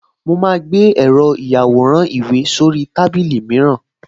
Mo máa gbé èrò ìyàwòrán-ìwé sórí tábìlì mìíràn